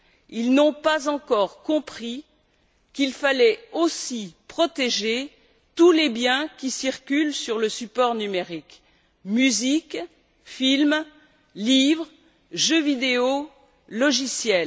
Ils n'ont pas encore compris qu'il fallait aussi protéger tous les biens qui circulent sur le support numérique musique, films, livres, jeux vidéo, logiciels.